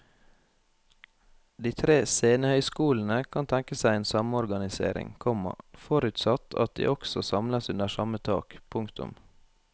De tre scenehøyskolene kan tenke seg en samorganisering, komma forutsatt at de også samles under samme tak. punktum